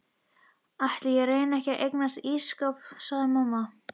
Ætli ég reyni ekki að eignast ísskáp sagði amma.